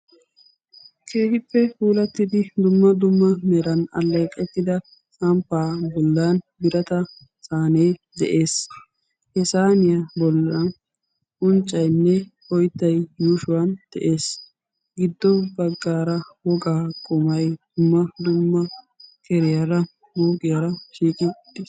Keehippe puulattidi dumma dumma meran alleeqettida samppaa bollan birata saanee de'ees. He saaniya bollan unccaynne oyttay yuushuwan de'ees. Giddo baggaara wogaa qumay dumma dumma tiriyara mooqiyara shiiqi utti,,,